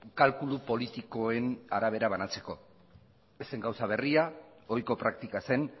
kalkulu politikoen arabera banatzeko ez zen gauza berria ohiko praktika zen